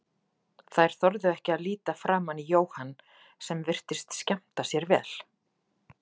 Þær þorðu ekki að líta framan í Jóhann sem virtist skemmta sér vel.